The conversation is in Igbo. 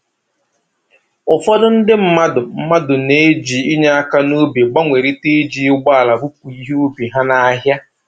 Ụfọdụ ndị mmadụ mmadụ na-eji inye aka n'ubi gbanwerịta iji ụgbọala bupu ihe ubi ha n'ahịa